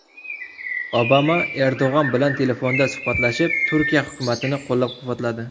Obama Erdo‘g‘on bilan telefonda suhbatlashib, Turkiya hukumatini qo‘llab-quvvatladi.